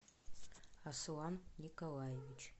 аслан николаевич